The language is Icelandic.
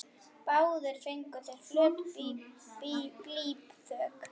Báðir fengu þeir flöt blýþök.